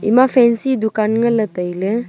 ema fancy dukan nganle taile.